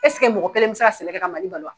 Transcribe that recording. Esige mɔgɔ kelen bɛ se ka sɛnɛ kɛ ka Mali balo wa.